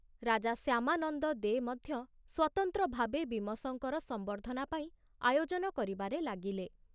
ରାଜା ଶ୍ୟାମାନନ୍ଦ ଦେ ମଧ୍ୟ ସ୍ବତନ୍ତ୍ର ଭାବେ ବୀମସଙ୍କର ସମ୍ବର୍ଦ୍ଧନା ପାଇଁ ଆୟୋଜନ କରିବାରେ ଲାଗିଲେ।